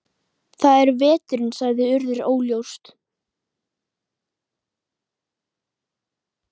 Það er veturinn sagði Urður óljóst.